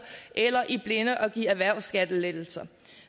eller i blinde at give erhvervsskattelettelser